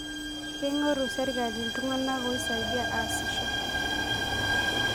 Keing'oru sirkali iltung'anak oisaidia aasisho